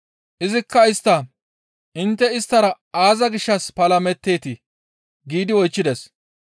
Izikka istta, «Intte isttara aaza gishshas palameteetii?» giidi oychchides.